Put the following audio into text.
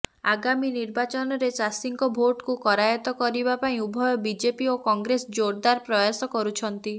ଆଗାମୀ ନିର୍ବାଚନରେ ଚାଷୀଙ୍କ ଭୋଟକୁ କରାଯତ୍ତ କରିବା ପାଇଁ ଉଭୟ ବିଜେପି ଓ କଂଗ୍ରେସ ଜୋରଦାର ପ୍ରୟାସ କରୁଛନ୍ତି